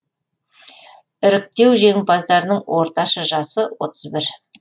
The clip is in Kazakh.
іріктеу жеңімпаздарының орташа жасы отыз бір